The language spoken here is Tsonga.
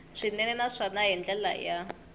swinene naswona hi ndlela ya